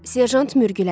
Serjant mürgülədi.